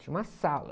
Tinha uma sala.